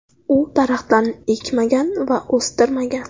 U daraxtlarni ekmagan va o‘stirmagan.